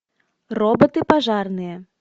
роботы пожарные